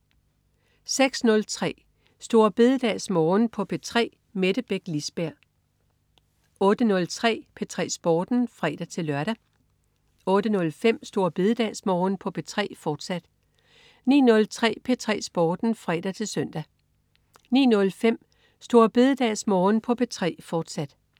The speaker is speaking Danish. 06.03 Store BededagsMorgen på P3. Mette Beck Lisberg 08.03 P3 Sporten (fre-lør) 08.05 Store BededagsMorgen på P3, fortsat 09.03 P3 Sporten (fre-søn) 09.05 Store BededagsMorgen på P3, fortsat